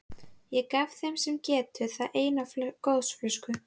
Ég gef þeim sem getur það eina gosflösku.